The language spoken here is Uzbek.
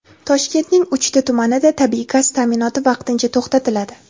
Toshkentning uchta tumanida tabiiy gaz ta’minoti vaqtincha to‘xtatiladi.